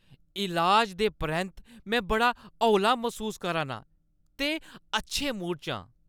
इलाज दे परैंत्त में बड़ा हौला मसूस करा नां ते अच्छे मूड च आं।